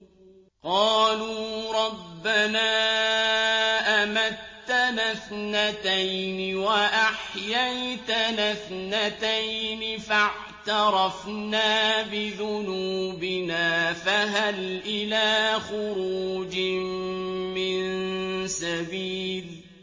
قَالُوا رَبَّنَا أَمَتَّنَا اثْنَتَيْنِ وَأَحْيَيْتَنَا اثْنَتَيْنِ فَاعْتَرَفْنَا بِذُنُوبِنَا فَهَلْ إِلَىٰ خُرُوجٍ مِّن سَبِيلٍ